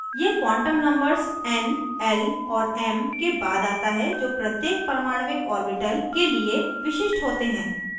यह quantum numbers n l और m के बाद आता है जो प्रत्येक परमाण्विक orbital के लिए विशिष्ट होते हैं